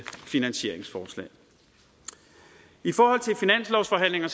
finansieringsforslag i forhold til finanslovsforhandlingerne